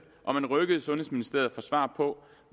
og man rykkede sundhedsministeriet for svar på